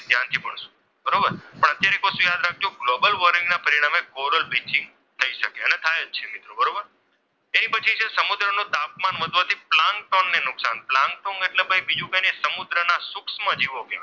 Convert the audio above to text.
બરોબર પણ અત્યારે એક વસ્તુ યાદ રાખજો ગ્લોબલ વોર્મિંગના પરિણામે કોરલ બ્લીચિંગ થઈ શકે અને થાય અને થાય જ છે મિત્રો બરોબર, તે પછી છે સમુદ્રનું તાપમાન વધવાથી પ્લાન્ટન ને નુકસાન, પ્લાન્ટન એટલે બીજું કંઈ નહીં પરંતુ સમુદ્રના સૂક્ષ્મ જીવો